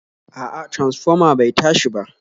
A'a transfoma bai tashi ba